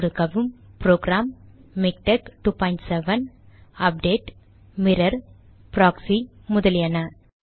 சொடுக்கவும் program MiKTeX 27 update mirror proxy முதலியன